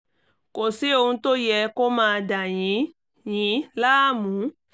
kò sí ohun tó yẹ kó máa dà yín yín láàmú